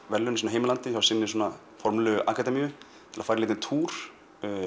verðlauna í sínu heimalandi hjá hinni formlegu akademíu til að fara í lítinn túr